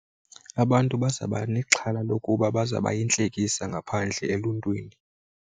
Abantu bazaba nexhala lokuba bazaba yintlekisa ngaphandle eluntwini.